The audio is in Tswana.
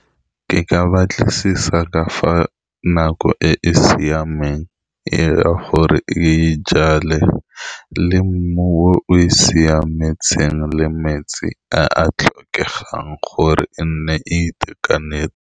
Ke ka batlisisa ka fa nako e e siameng e a gore e jale le mmu o e siametseng le metsi a a tlhokegang gore e nne e itekanetse.